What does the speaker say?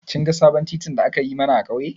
Kin ga sabon titin da aka yi mana a ƙauye?